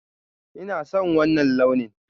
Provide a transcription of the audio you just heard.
Ina son wanna launin.